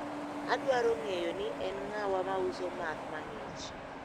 Adwaro ng`eyo ni en ng`awa mauso math mang`ich.